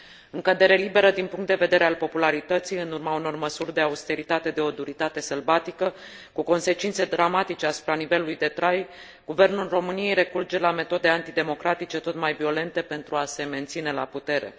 În cădere liberă din punct de vedere al popularității, în urma unor măsuri de austeritate de o duritate sălbatică, cu consecințe dramatice asupra nivelului de trai, Guvernul României recurge la metode antidemocratice tot mai violente pentru a se menține la putere.